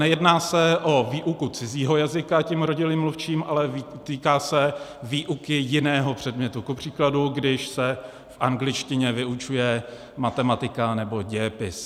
Nejedná se o výuku cizího jazyka tím rodilým mluvčím, ale týká se výuky jiného předmětu, kupříkladu když se v angličtině vyučuje matematika nebo dějepis.